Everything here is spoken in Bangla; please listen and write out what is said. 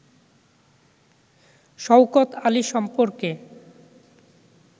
শওকত আলী সম্পর্কে